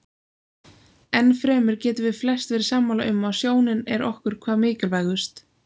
Enn fremur getum við flest verið sammála um að sjónin er okkur hvað mikilvægust.